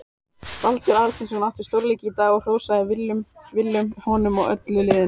Baldur Aðalsteinsson átti stórleik í dag og hrósaði Willum honum og öllu liðinu.